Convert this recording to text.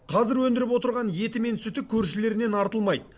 қазір өндіріп отырған еті мен сүті көршілерінен артылмайды